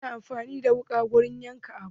Ana amfani da wuƙa wurin yanka abu.